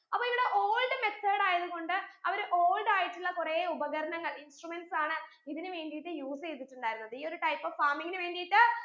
അപ്പൊ ഇവിടെ old method ആയത് കൊണ്ട് അവർ old ആയിട്ടുള്ള കൊറേ ഉപകരണങ്ങൾ instruments ആണ് ഇതിന് വേണ്ടീട്ട് use ചെയ്തിട്ടുണ്ടായിരുന്നത് ഈ ഒരു type of farming ന് വേണ്ടീട്ട്